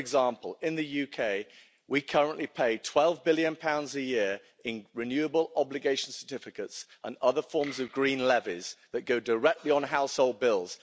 For example, in the UK, we currently pay GBP 12 billion a year in renewable obligation certificates and other forms of green levies that go directly on household bills.